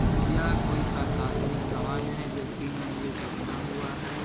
यह कोई प्रशासनिक भवन है जो तीन मंजिल का बना हुआ है।